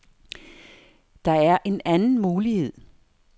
Der er en anden mulighed.